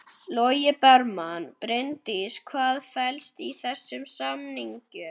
Logi Bergmann: Bryndís hvað felst í þessum samningum?